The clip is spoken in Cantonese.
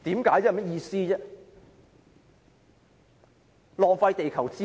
根本在浪費地球資源。